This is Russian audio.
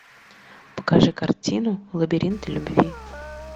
покажи картину лабиринты любви